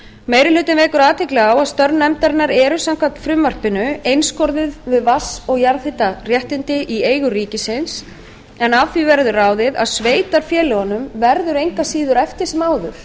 meiri hlutinn vekur athygli á að störf nefndarinnar eru samkvæmt frumvarpinu einskorðuð við vatns og jarðhitaréttindi í eigu ríkisins en af því verður ráðið að sveitarfélögunum verður engu að síður eftir sem áður